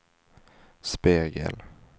spegel